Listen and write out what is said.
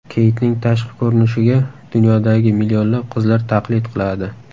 Keytning tashqi ko‘rinishiga dunyodagi millionlab qizlar taqlid qiladi.